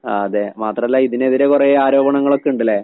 അതെ. മാത്രല്ല ഇതിനെതിരെ കൊറേ ആരോപണങ്ങളൊക്ക്ണ്ട്ലേ?